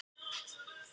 Það var Tom.